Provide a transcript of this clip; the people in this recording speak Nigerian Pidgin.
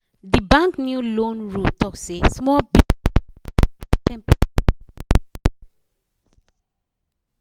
d bank new loan rule talk say small business people go pay ten percent interest rate